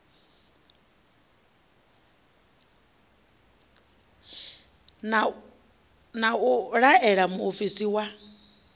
na u laela muofisi wa